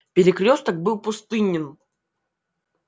перекрёсток был пустынен